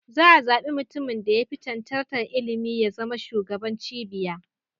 Za a zabi mutumin da ya fi cancantar ilimi ya zama shugaban cibiyar